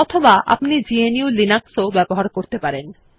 অথবা আপনি GNU Linux ব্যবহার করতে পারেন